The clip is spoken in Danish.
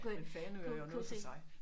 Men Fanø er jo også noget for sig